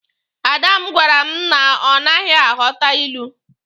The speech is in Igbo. Ada m gwara m na ọ naghị aghọta ilu.